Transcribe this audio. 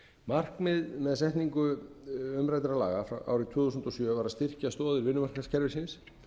markmið með setningu umræddra laga árið tvö þúsund og sjö var að styrkja stoðir vinnumarkaðskerfisins